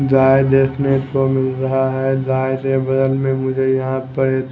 गाय देखने को मिल रहा है गाय के बगल में मुझे यहां पर--